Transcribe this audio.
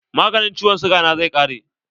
Maganin ciwon siga na zai ƙare.